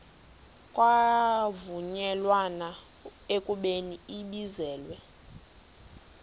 kwavunyelwana ekubeni ibizelwe